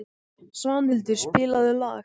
Svanhildur, spilaðu lag.